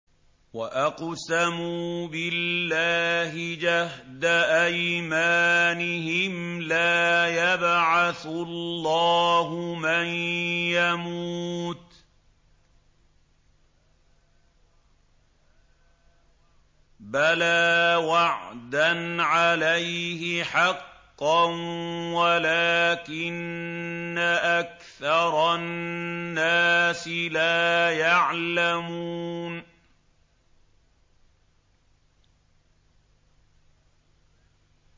وَأَقْسَمُوا بِاللَّهِ جَهْدَ أَيْمَانِهِمْ ۙ لَا يَبْعَثُ اللَّهُ مَن يَمُوتُ ۚ بَلَىٰ وَعْدًا عَلَيْهِ حَقًّا وَلَٰكِنَّ أَكْثَرَ النَّاسِ لَا يَعْلَمُونَ